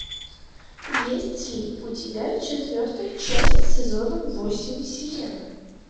есть ли у тебя четвертая часть сезона восемь сирена